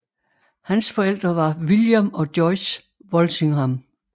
Hans forældre var William og Joyce Walsingham